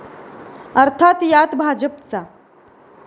अर्थात यात भाजपचा